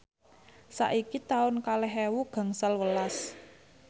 saiki taun kalih ewu gangsal welas